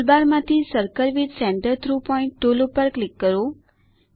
ટુલબારમાંથી circle with centre through point tool પર click કરો